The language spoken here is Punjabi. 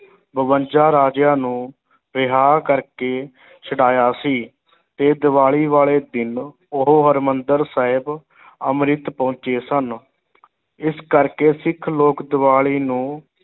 ਬਵੰਜਾ ਰਾਜਿਆਂ ਨੂੰ ਰਿਹਾ ਕਰਕੇ ਛਡਾਇਆ ਸੀ ਤੇ ਦੀਵਾਲੀ ਵਾਲੇ ਦਿਨ ਉਹ ਹਰਿਮੰਦਰ ਸਾਹਿਬ ਅੰਮ੍ਰਿਤ ਪਹੁੰਚੇ ਸਨ ਇਸ ਕਰਕੇ ਸਿੱਖ ਲੋਕ ਦੀਵਾਲੀ ਨੂੰ